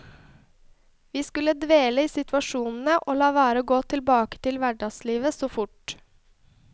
Vi skulle dvele i situasjonene, og la være å gå tilbake til hverdagslivet så fort.